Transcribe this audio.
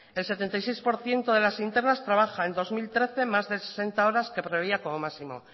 el setenta y seis por ciento de las internas trabaja en dos mil trece más de sesenta horas que preveía como máximo